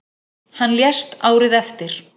Hann lést árið eftir.